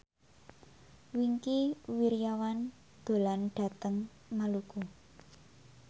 Wingky Wiryawan dolan menyang Maluku